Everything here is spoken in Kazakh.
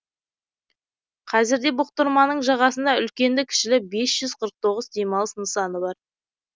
қазірде бұқтырманың жағасында үлкенді кішілі бес жүз қырық тоғыз демалыс нысаны бар